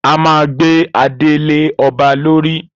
A máa gbé adé lé ọba lorí